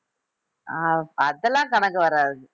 ஆஹ் அதெல்லாம் கணக்கு வராது